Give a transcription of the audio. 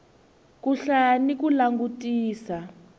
ku hlaya ni ku langutisa